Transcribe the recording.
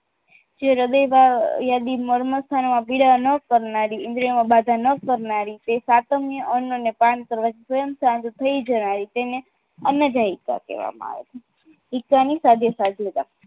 જે હૃદયમાં યાદી માં મળ સ્થાનમાં પીડા ન કરનારી ઇન્દ્રિયોમાં બાધા ન કરનારી તે સાતમની અન્નના પાન કરવાથી સ્વયં સ્થાન થઈ જાય છે તેને અન્નજાયકા કહેવામાં આવે છે